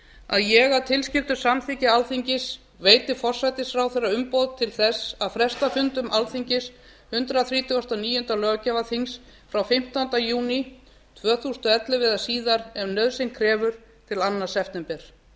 að ég að tilskildu samþykki alþingis veiti forsætisráðherra umboð til þess að fresta fundum alþingis hundrað þrítugasta og níunda löggjafarþings frá fimmtándu júní tvö þúsund og ellefu eða síðar ef nauðsyn krefur til annars september